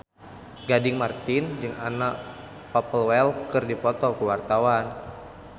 Gading Marten jeung Anna Popplewell keur dipoto ku wartawan